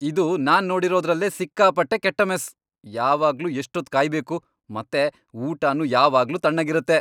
ಇದು ನಾನ್ ನೋಡಿರೋದ್ರಲ್ಲೇ ಸಿಕ್ಕಾಪಟ್ಟೆ ಕೆಟ್ಟ ಮೆಸ್. ಯಾವಾಗ್ಲೂ ಎಷ್ಟೊತ್ತ್ ಕಾಯ್ಬೇಕು ಮತ್ತೆ ಊಟನೂ ಯಾವಾಗ್ಲೂ ತಣ್ಣಗಿರತ್ತೆ.